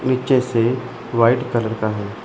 नीचे से white colour का है।